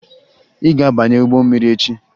Ị ga-abanye ụgbọ mmiri echi!